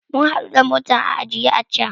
A'a, mun hadu da motar a ajiye a can.